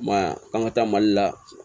I m'a ye k'an ka taa mali la